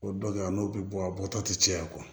O dɔ kɛ a n'o bɛ bɔ a bɔtɔ ti caya